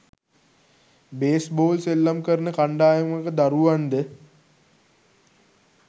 base ball සෙල්ලම් කරන කණ්ඩායමක දරුවන්ද